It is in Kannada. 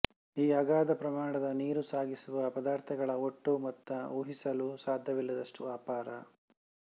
ಈ ಅಗಾಧ ಪ್ರಮಾಣದ ನೀರು ಸಾಗಿಸುವ ಪದಾರ್ಥಗಳ ಒಟ್ಟು ಮೊತ್ತ ಊಹಿಸಲೂ ಸಾಧ್ಯವಿಲ್ಲದಷ್ಟು ಅಪಾರ